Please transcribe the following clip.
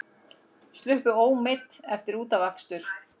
Sluppu ómeidd eftir útafakstur